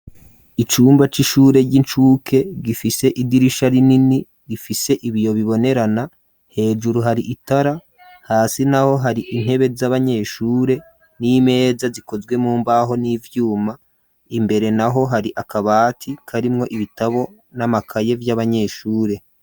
Icumba, c'ishure ry'incuke, gifise idirisha rinini, gifise ibiyo bibonerana; hejuru hari itara, hasi naho, hari intebe, z'abanyeshure, n'imeza, zikozwe mu mbaho, n'ivyuma; imbere naho, hari akabati, karimwo ibitabo n'amakaye, vy'abanyeshure.